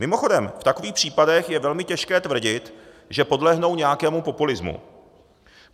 Mimochodem, v takových případech je velmi těžké tvrdit, že podlehnou nějakému populismu.